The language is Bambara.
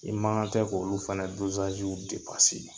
I mankan tɛ k'olu fɛnɛ dozaziw depase